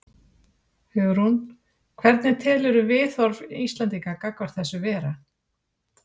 Hugrún: Hvernig telurðu viðhorf Íslendinga gagnvart þessu vera?